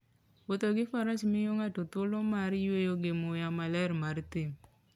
Wuotho gi Faras miyo ng'ato thuolo mar yueyo gi muya maler mar thim.